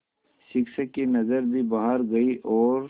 शिक्षक की नज़र भी बाहर गई और